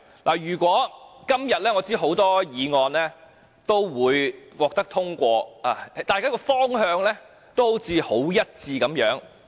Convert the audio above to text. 我知道今天有多項議案均會獲得通過，大家也好像方向一致。